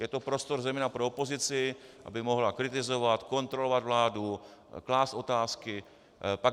Je to prostor zejména pro opozici, aby mohla kritizovat, kontrolovat vládu, klást otázky.